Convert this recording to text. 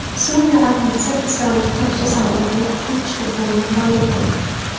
Suriya armiyasi Isroil qiruvchi samolyotini urib tushirganini ma’lum qildi.